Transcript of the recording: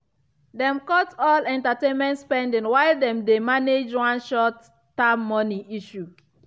dem cut all entertainment spending while dem dey manage one short-term money issue.